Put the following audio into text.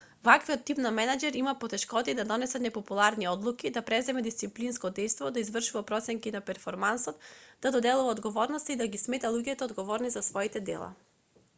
ваквиот тип на менаџер има потешкотии да донесува непопуларни одлуки да презема дисциплинско дејство да извршува проценки на перформансот да доделува одговорности и да ги смета луѓето одговорни за своите дела